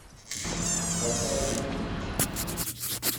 хазяр викторович